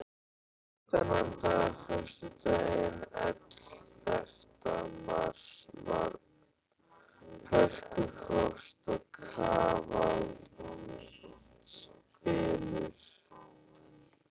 Þennan dag, föstudaginn ellefta mars, var hörkufrost og kafaldsbylur.